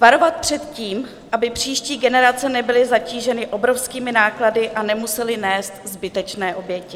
Varovat před tím, aby příští generace nebyly zatíženy obrovskými náklady a nemusely nést zbytečné oběti.